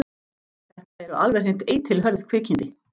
Þetta eru alveg hreint eitilhörð kvikindi.